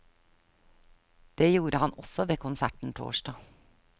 Det gjorde han også ved konserten torsdag.